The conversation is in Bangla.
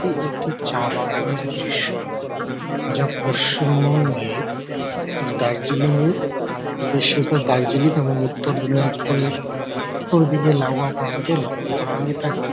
এটি একটি চা বাগানের দৃশ্য যা পশ্চিমবঙ্গের উম দার্জিলিঙের দৃশ্যের পর দার্জিলিং এবং উত্তর দিনাজপুরের ওই দিকে লাউয়া প্রান্তে লক্ষ্য করা হয়ে থাকে।